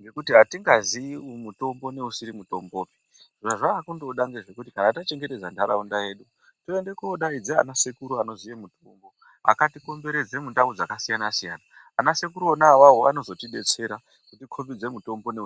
ngekuti hatingazii mutombo neusiri mutombopi. Zvazva kundoda ngezvekuti kana tachengetedza ntaraunda yedu. Tiende kodaidze ana sekuru anoziya mutombo akatikomberedze mundau dzakasiyana-siyana, ana sekuru ona vavo anozotibetsera kuti kombidze mutombo ne.